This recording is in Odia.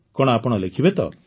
କଣ ଆପଣ ଲେଖିବେ ତ